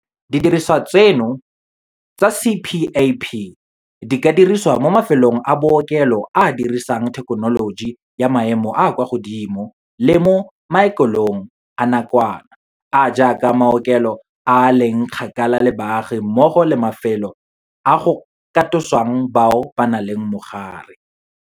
Didirisiwa tseno tsa CPAP di ka dirisiwa mo mafelong a bookelo a a dirisang thekenoloji ya maemo a a kwa godimo le mo maokelong a nakwana, a a jaaka maokelo a a leng kgakala le baagi mmogo le mafelo a go katosa bao ba nang le mogare.